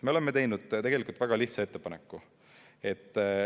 Me oleme teinud väga lihtsa ettepaneku.